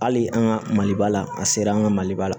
Hali an ka maliba la an sera an ka maliba la